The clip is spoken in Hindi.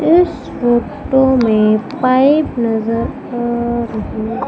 इस फोटो में पाइप नजर आ रही--